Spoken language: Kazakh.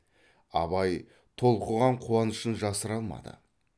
абай толқыған қуанышын жасыра алмады